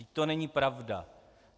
Vždyť to není pravda!